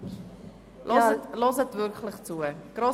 Ich bitte Sie wirklich, zuzuhören.